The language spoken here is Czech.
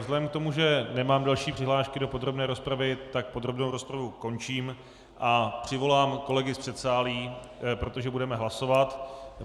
Vzhledem k tomu, že nemám další přihlášky do podrobné rozpravy, tak podrobnou rozpravu končím a přivolám kolegy z předsálí, protože budeme hlasovat.